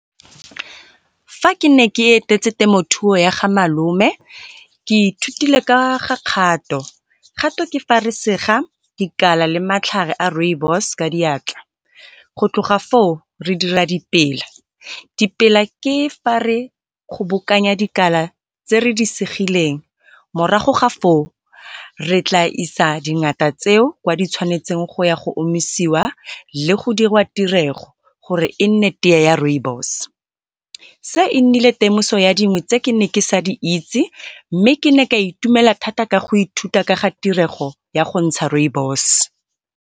Fa ke ne ke etetse temothuo ya ga malome ke ithutile ka ga kgato. Kgato ke fa re sega dikala le matlhare a rooibos ka diatla. Go tloga foo re dira dipela, dipela ke fa re kgobokanya dikala tse re di segileng. Morago ga foo re tla isa dingata tseo ditshwanetseng go ya go omisiwa le go dirwa tirego gore e nne tee ya rooibos. Se e nnile temoso ya dingwe tse ke ne ke sa di itse mme ke ne ka itumela thata ka ga tirego ya gontsha rooibos.